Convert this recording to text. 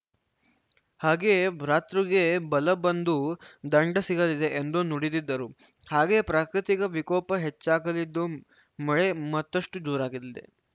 ಹಾಗೆಯೇ ಭ್ರಾತೃಗೆ ಬಲ ಬಂದು ದಂಡ ಸಿಗಲಿದೆ ಎಂದು ನುಡಿದಿದ್ದರು ಹಾಗೆಯೇ ಪ್ರಾಕೃತಿಕ ವಿಕೋಪ ಹೆಚ್ಚಾಗಲಿದ್ದು ಮಳೆ ಮತ್ತಷ್ಟುಜೋರಾಗಲಿದೆ